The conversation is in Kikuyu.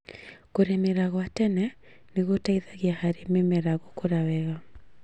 Kũrĩmĩra gwa tene nĩgũteithagia harĩ mĩmera gũkũra wega